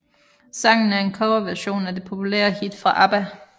Sangen er en coverversion af det populære hit fra ABBA